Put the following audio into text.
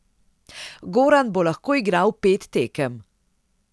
Goran bo lahko igral pet tekem.